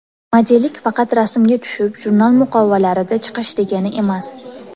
Modellik faqat rasmga tushib, jurnal muqovalarida chiqish degani emas.